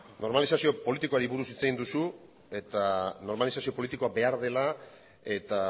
normalizazio politikoari buru hitz egin duzu eta normalizazio politikoa behar dela eta